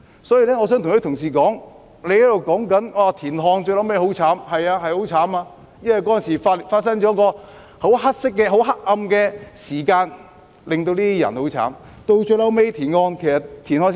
所以，我想跟同事說，他們提到田漢最後的下場很悲慘，那的確很慘，因為當時發生了十分黑暗的事件，令這些人的生活很悲慘。